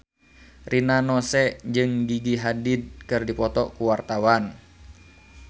Rina Nose jeung Gigi Hadid keur dipoto ku wartawan